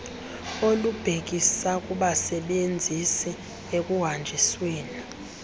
olubhekisa kubasebenzisi ekuhanjisweni